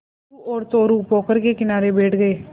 किच्चू और चोरु पोखर के किनारे बैठ गए